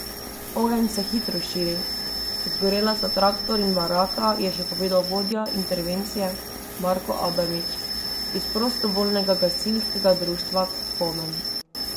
Ogenj se hitro širi, zgorela sta traktor in baraka, je še povedal vodja intervencije Marko Adamič iz Prostovoljnega gasilskega društva Komen.